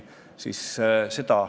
Miks me seda edasi ei aruta?